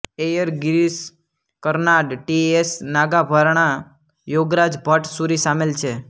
Iyer Girish Karnad T S Nagabharana Yogaraj Bhat Suri સામેલ છે